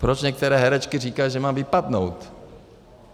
Proč některé herečky říkají, že mám vypadnout?